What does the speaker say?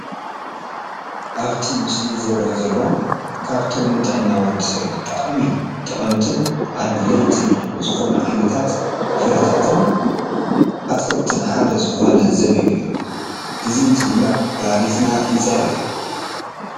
ኣብቲ ምስሊ ዝረአ ዘሎ ካብቶም ንጥዕና ወዲሰብ ብጣዕሚ ጠቐምትን ኣድለይትን ዝኾኑ ዓይነታት ፍራምረታትን ኣትክልትን ሓደ ዝኾነ ዘቢብ እዩ፡፡ እዚ እንትንበልዕ ኩላሊትና ይፀሪ፡፡